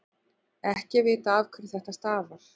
ekki er vitað afhverju þetta stafar